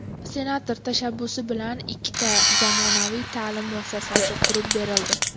Senator tashabbusi bilan ikkita zamonaviy ta’lim muassasasi qurib berildi.